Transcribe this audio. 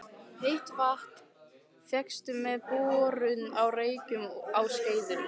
Heitt vatn fékkst með borun á Reykjum á Skeiðum.